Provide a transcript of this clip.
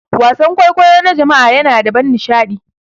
Wasan kwaikwayo na jama'a yana da ban nishaɗi.